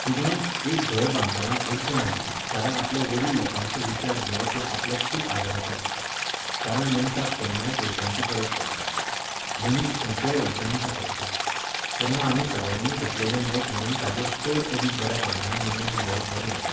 कितेंय, एक घर बांदतना अडचण आयली जाल्यार आपल्या वडील लोकांचो विचार घेवप हें आपल्याक खूब आदाराचें आसता. कारण मनशाक केन्नाय पयशांची गरज पडटा. मनीस खंयचेय अडचणींत सांपडटा. तेन्ना आमी सगळ्यांनी घेतलेलें मत म्हुणून ताचेर चड अदीक बऱ्या प्रमाणांत निर्णय घेवप बरें जाता.